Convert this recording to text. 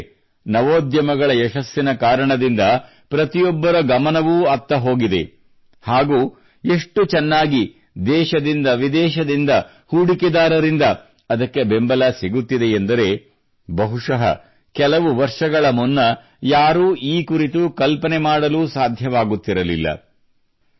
ಸ್ನೇಹಿತರೇ ನವೋದ್ಯಮಗಳ ಯಶಸ್ಸಿನ ಕಾರಣದಿಂದ ಪ್ರತಿಯೊಬ್ಬರ ಗಮನವೂ ಅತ್ತ ಹೋಗಿದೆ ಹಾಗೂ ಎಷ್ಟು ಚೆನ್ನಾಗಿ ದೇಶದಿಂದ ವಿದೇಶದಿಂದ ಹೂಡಿಕೆದಾರರಿಂದ ಅದಕ್ಕೆ ಬೆಂಬಲ ಸಿಗುತ್ತಿದೆ ಎಂದರೆಬಹುಶಃ ಕೆಲವು ವರ್ಷಗಳ ಮುನ್ನ ಯಾರೂ ಈ ಕುರಿತು ಕಲ್ಪನೆ ಮಾಡಲೂ ಸಾಧ್ಯವಾಗುತ್ತಿರಲಿಲ್ಲ